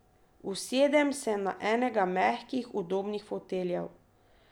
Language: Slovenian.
Usedem se na enega mehkih, udobnih foteljev.